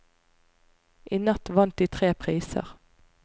I natt vant de tre priser.